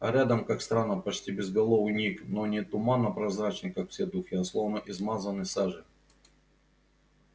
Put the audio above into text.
а рядом как странно почти безголовый ник но не туманно-прозрачный как все духи а словно измазанный сажей